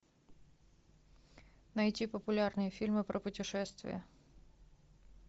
найти популярные фильмы про путешествия